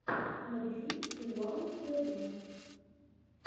набери уау тв